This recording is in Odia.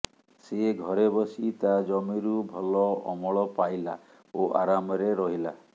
ସେ ଘରେ ବସି ତା ଜମିରୁ ଭଲ ଅମଳ ପାଇଲା ଓ ଆରାମରେ ରହିଲା